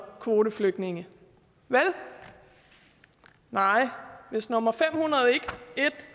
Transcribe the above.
kvoteflygtninge vel nej hvis nummer fem hundrede